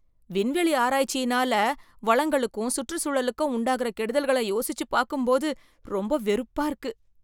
விண்வெளி ஆராய்ச்சியினால வளங்களுக்கும் சுற்றுச்சூழலுக்கும் உண்டாகுற கெடுதல்களை யோசிச்சுப் பாக்கும்போது ரொம்ப வெறுப்பா இருக்கு.